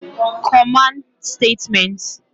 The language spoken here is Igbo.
Command Statements